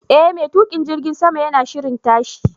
E, mai tukin jirgin sama yana shirin tashi.